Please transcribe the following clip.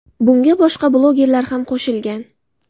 Bunga boshqa blogerlar ham qo‘shilgan.